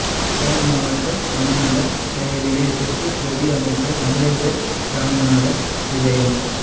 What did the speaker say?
யாழ் மாவட்ட கமநல சேவை நிலையத்திற்கு பிரதி அமைச்சர் அங்கஜன் இராமநாதன் விஜயம்